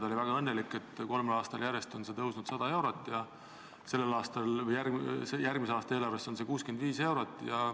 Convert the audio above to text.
Ta oli väga õnnelik, et kolmel aastal järjest on see tõusnud 100 eurot ja sellel aastal või järgmise aasta eelarves on see tõus 65 eurot.